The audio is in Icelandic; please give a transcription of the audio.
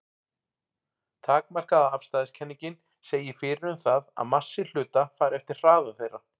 Takmarkaða afstæðiskenningin segir fyrir um það að massi hluta fari eftir hraða þeirra.